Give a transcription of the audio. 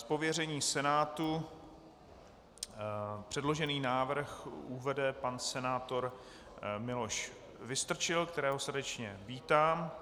Z pověření Senátu předložený návrh uvede pan senátor Miloš Vystrčil, kterého srdečně vítám.